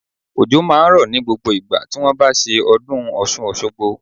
Òjò máa ń rọ̀ ní gbogbo ìgbà tí wón bá ṣe ọdún Ọ̀ṣun Òṣogbo.